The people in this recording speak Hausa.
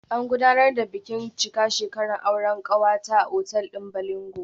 An gudanar da bikin cika shekaran aure kanwata a otal din Bolingo